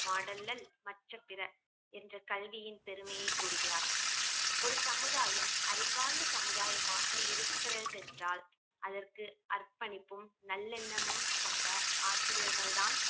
மாடல்லல் மற்ற பிற என்ற கல்வியின் பெருமையை கூறுகிறார் ஒரு சமுதாயம் அறிவார்ந்த சமுதாயமாக இருக்கிறதென்றால் அதற்கு அர்ப்பணிப்பும் நல்லெண்ணமும் கொண்ட ஆசிரியர்கள் தான்